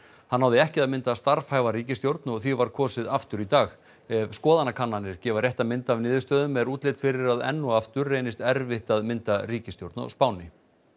hann náði ekki að mynda starfhæfa ríkisstjórn og því var kosið aftur í dag ef skoðanakannanir gefa rétta mynd af niðurstöðum er útlit fyrir að enn og aftur reynist erfitt að mynda ríkisstjórn á Spáni